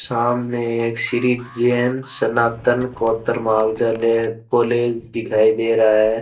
सामने एक श्री जैन सनातन कोत्तर महाविद्यालय कॉलेज दिखाई दे रहा है।